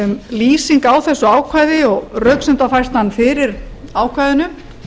lýsing á þessu ákvæði og röksemdafærslan fyrir ákvæðinu